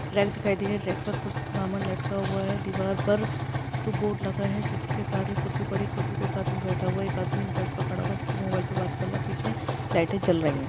Rack दिखाई दे रही है रॅक पर कुछ सामान लटका हुआ है दीवार पर एक बोर्ड लगा है जिसके सहारे कुर्सी बडी कुर्सीपे एक आदमी बैठा हुआ है एक आदमी जो फर्श पर खडा है जो की मोबाइल पे बात कर रहा है पीछे लाईटे जल रही है।